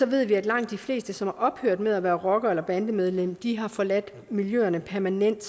ved vi at langt de fleste som er ophørt med at være rocker eller bandemedlem har forladt miljøerne permanent